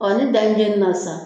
Ɔ ni dan jɛn na sa.